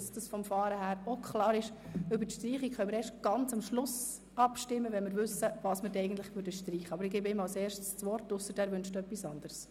Über die Streichung können wir erst ganz am Schluss abstimmen, wenn wir wissen, was eigentlich gestrichen würde.